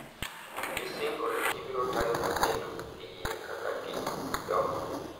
Gisingo ni gibiro tayo nyathino e yie kaka gidongo.